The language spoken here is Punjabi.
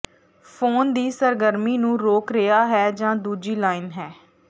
ਫੋਨ ਦੀ ਸਰਗਰਮੀ ਨੂੰ ਰੋਕ ਰਿਹਾ ਹੈ ਜ ਦੂਜੀ ਲਾਈਨ ਹੈ